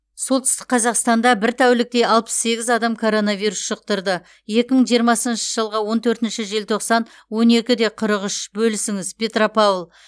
солтүстік қазақстанда бір тәулікте алпыс сегіз адам коронавирус жұқтырды екі мың жиырмасыншы жылғы он төртінші желтоқсан он екі қырық үш бөлісіңіз петропавл